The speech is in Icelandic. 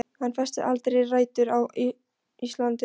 Hann festir aldrei rætur á Íslandi.